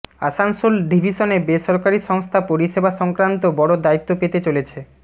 আসানসোল ডিভিশনে বেসরকারি সংস্থা পরিষেবা সংক্রান্ত বড় দায়িত্ব পেতে চলেছে